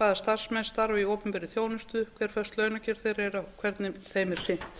hvaða starfsmenn starfi í opinberri þjónustu hver föst launakjör þeirra og hvernig þeim er sinnt